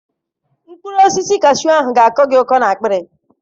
Mkpụrụ osisi kashu ahụ ga-akọ gị ụkọ na-akpịrị.